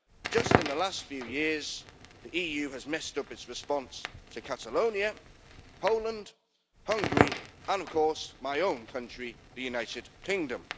Just in the last few years the EU has messed up its response to Catalonia, Poland, Hungary, and of course my own country, the United Kingdom.